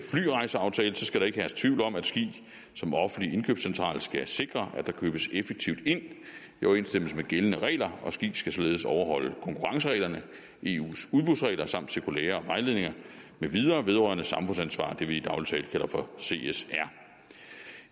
flyrejseaftale skal ikke herske tvivl om at ski som offentlig indkøbscentral skal sikre at der købes effektivt ind i overensstemmelse med gældende regler og ski skal således overholde konkurrencereglerne i eus udbudsregler samt cirkulærer og vejledninger med videre vedrørende samfundsansvar det vi i daglig tale kalder for csr